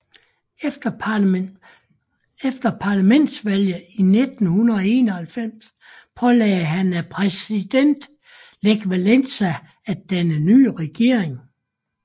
Efter parlamentsvalget i 1991 pålagdes han af præsident Lech Wałęsa at danne en ny regering